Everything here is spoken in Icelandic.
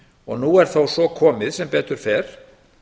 og nú er svo komið sem betur fer